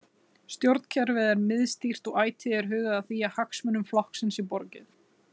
Stjórnkerfið er miðstýrt og ætíð er hugað að því að hagsmunum flokksins sé borgið.